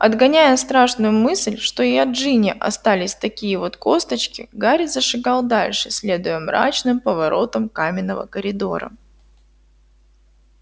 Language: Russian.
отгоняя страшную мысль что и от джинни остались такие вот косточки гарри зашагал дальше следуя мрачным поворотам каменного коридора